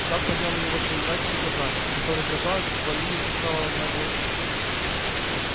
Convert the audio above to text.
сатт поднял на него свои мрачные глаза которые казалось ввалились до самого дна глазниц